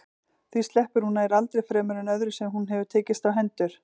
Því sleppir hún nær aldrei fremur en öðru sem hún hefur tekist á hendur.